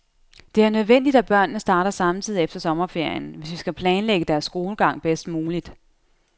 Det er nødvendigt, at børnene starter samtidig efter sommerferien, hvis vi skal planlægge deres skolegang bedst muligt.